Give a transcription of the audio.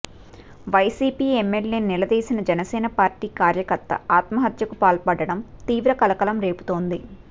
YCP ఎమ్మెల్యేను నిలదీసిన Janasena party కార్యకర్త ఆత్మహత్యకు పాల్పడటం తీవ్ర కలకలం రేపుతోంది